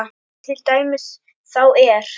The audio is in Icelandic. Til dæmis þá er